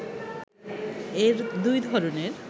এর দুই ধরণের